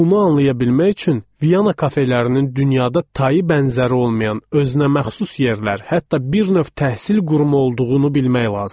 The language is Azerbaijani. Bunu anlaya bilmək üçün Viana kafelərinin dünyada tayı bərabəri olmayan, özünəməxsus yerlər, hətta bir növ təhsil qurumu olduğunu bilmək lazımdır.